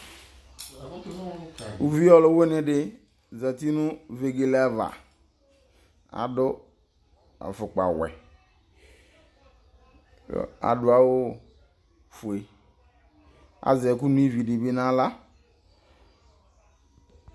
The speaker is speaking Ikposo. Uvi ɔluwene de zati no vegele ava, Ado afokpawɛ ko ado awufue Azɛ ɛko no ivi de be nahla